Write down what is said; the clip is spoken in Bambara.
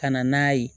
Ka na n'a ye